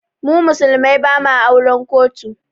Mu musulmai ba ma auren kotu